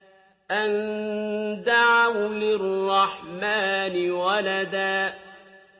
أَن دَعَوْا لِلرَّحْمَٰنِ وَلَدًا